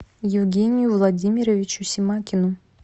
евгению владимировичу семакину